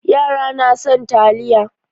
Yara na son taliya.